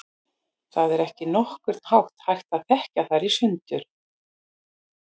Það er ekki á nokkurn hátt hægt að þekkja þær í sundur.